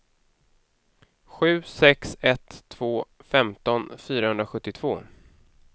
sju sex ett två femton fyrahundrasjuttiotvå